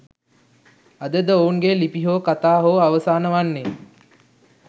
අද ද ඔවුන් ගේ ලිපි හෝ කතා හෝ අවසාන වන්නේ